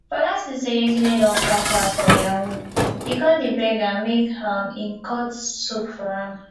fola see say yetunde don cash out for yahoo e come dey beg am make um im cut soap for am